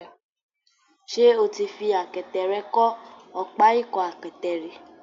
Ṣé o ti fi àkẹtẹ̀ rẹ kọ́ ọ̀pá ìkọ́-àkẹtẹ̀ rí?